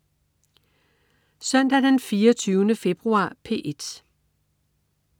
Søndag den 24. februar - P1: